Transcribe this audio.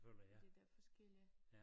Fordi der er forskellige